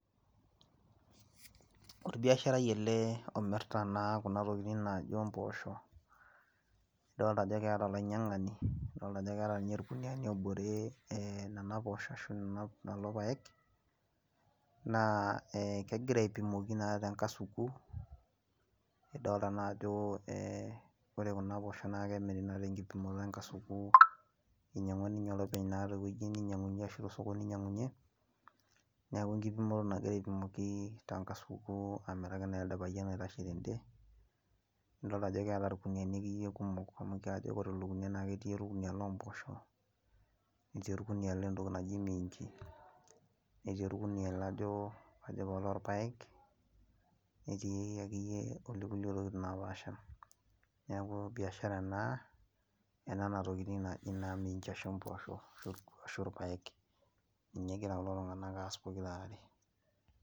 orbiasharai ele omirita naa Kuna tokitin naaji mboshok nidol Ajo keeta olainyiangani netaa irkuniani oboreki Nena poshok ashu lelo paek naa kegira aipimoko tenkasuku nidolita Ajo ore Kuna poshok naa kemira tenkipimoto tenkasuku ninyiang'ua naa oloopeny tosokoni oinyiangunyie neeku tenkipimoto ake egira aipima tenkasaku amiraki naa ele payian oitashe tede nidol Ajo keeta irkuniani kumok amu kajo ketii oloo mboshok netii oloo minji netii oloo irpaek netii olekulie tokitin napaasha neeku biashara ena oo minji ashu mboshok ashu irpaek ninye egira kulo tung'ana aas pokira are